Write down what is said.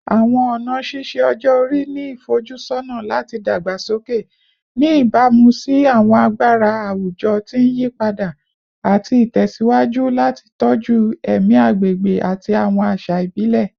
Awọn ọna ṣiṣe-ọjọ-ori ni ifojusọna lati dagbasoke, ni ibamu si awọn agbara awujọ ti n yipada, ati tẹsiwaju lati tọju ẹmi agbegbe ati awọn aṣa ibile